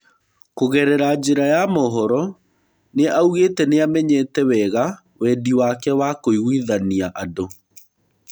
Kũgerera njĩra ya mohoro, nĩaugĩte nĩamenyete wega Wendi wake wa kũiguithania andũ.